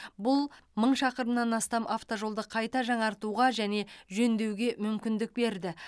бұл мың шақырымнан астам автожолды қайта жаңартуға және жөндеуге мүмкіндік берді